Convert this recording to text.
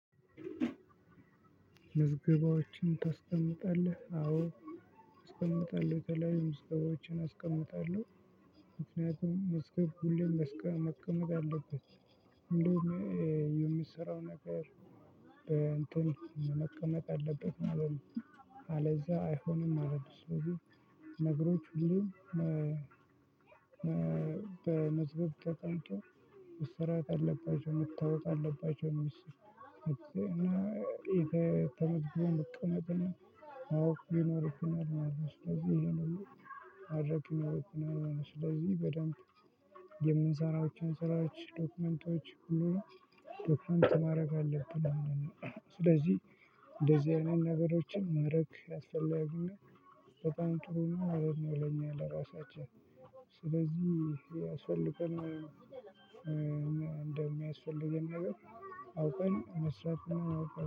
ምዝግባዎችን ታስቀምጣለህ አዎ አስቀምጣለው የተለያዩ ምዝግባዎችን አስቀምጣለው ምክንያቱም መስቀል ሁሌም መስቀል መቀመጥ አለበት። እንደውም የሚሰራው ነገር በእንትን መቀመጥ አለበት ማለት ነው። አለዛ አይሆንም ማለት ስለዚህ። ነገሮች ሁሉ በመዝገብ ተቀምጦ መሰራት አለባቸው መታወቅ አለባቸው። እነሱን እና ተመዝግቦ መቀመጥን አዎ ይኖርብናል ማለት ነው። ስለዚህ እሄን ሁሉ ማድረግ ይኖርብናል ማለት ነው። ስለዚህ በደንብ የምንሰራቸውን ሰራዎች ዶክመንቶች ሁሉንም ዶክመንት ማረግ አለብን። ስለዚህ እንደዚህ አይነት ነገሮችን ማረግ አስፈላጊና በጣም ጥሩ እና ማረግ ነው። ለኛ ለራሳችን ስለዚህ ያስፈልጋል ማለት ነው። እንደሚያስፈልገን ነገር አውቀን መስራት